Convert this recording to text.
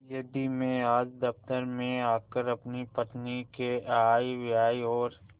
यदि मैं आज दफ्तर में आकर अपनी पत्नी के आयव्यय और